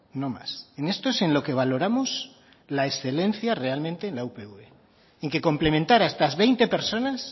no más en esto es en lo que valoramos la excelencia realmente en la upv en que complementar a estas veinte personas